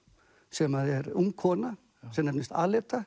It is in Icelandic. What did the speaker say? sem er ung kona sem nefnist